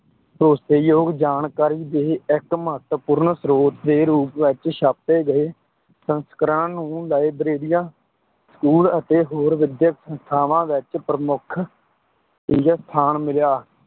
ਭਰੋਸੇਯੋਗ ਜਾਣਕਾਰੀ ਦੇ ਇੱਕ ਮਹੱਤਵਪੂਰਣ ਸਰੋਤ ਦੇ ਰੂਪ ਵਿੱਚ ਛਾਪੇ ਗਏ ਸੰਸਕਰਣਾਂ ਨੂੰ ਲਾਇਬ੍ਰੇਰੀਆਂ school ਅਤੇ ਹੋਰ ਵਿਦਿਅਕ ਸੰਸਥਾਵਾਂ ਵਿੱਚ ਪ੍ਰਮੁੱਖ ਸਥਾਨ ਮਿਲਿਆ।